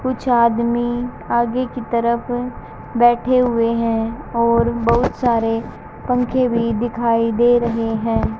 कुछ आदमी आगे की तरफ बैठे हुए हैं और बहुत सारे पंखे भी दिखाई दे रहे हैं।